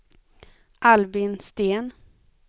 Albin Sten